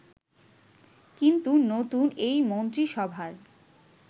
কিন্তু নতুন এই মন্ত্রিসভার